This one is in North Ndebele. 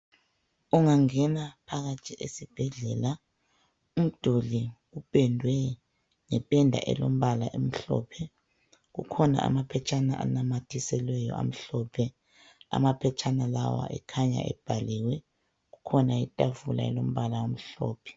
Ungangena phakathi esibhedlela, umduli upendwe ngependa elombala emhlophe .Kukhona amaphetshana anamathiselweyo amhlophe, amaphetshana lawa ekhanya ebhaliwe .Kukhona itafula elombala omhlophe.